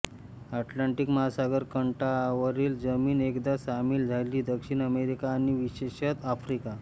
Atlantic महासागराच्या काठावरील जमीन एकदा सामील झाली दक्षिण अमेरिका आणि विशेषतः आफ्रिका